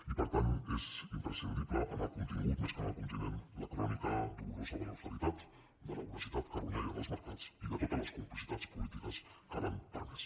i per tant és imprescindible en el contingut més que en el continent la crònica dolorosa de l’austeritat de la voracitat carronyaire dels mercats i de totes les complicitats polítiques que l’han permesa